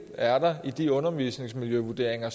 er i de undervisningsmiljøvurderinger